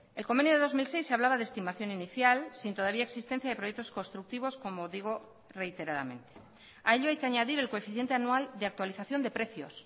el convenio de dos mil seis hablaba de estimación inicial sin todavía existencia de proyectos constructivos como digo reiteradamente a ello hay que añadir el coeficiente anual de actualización de precios